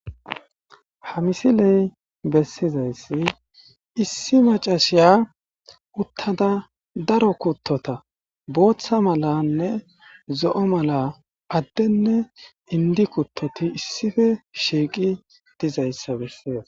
Ha misiley bessizayssi issi macashiya uttada daro kuttota booththa malanne zo7o mala addenne indi kuttoti issife shiiqi dizayssa bessizas